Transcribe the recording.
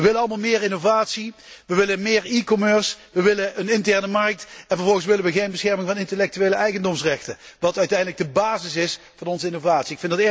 Wij willen allen meer renovatie, wij willen meer e commerce wij willen een interne markt en vervolgens willen wij geen bescherming van de intellectuele eigendomsrechten, wat uiteindelijk de basis is van onze innovatie.